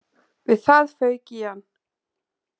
Við það fauk í hann